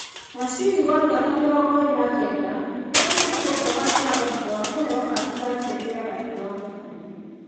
Nasri, wa mĩaka 29, nĩarutirwo nja wa kĩhaaro thutha wa kũheo kandi ya kerĩ ya rangi wa mũkũyũ.